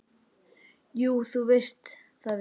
Jú, þú veist það víst.